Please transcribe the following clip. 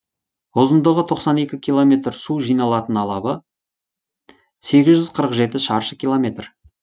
ұзындығы тоқсан екі километр су жиналатын алабы сегіз жүз қырық жеті шаршы километр